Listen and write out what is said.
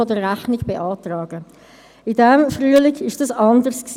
Also: Wie hoch wird der Wert einer Liegenschaft in der Buchhaltung ausgewiesen?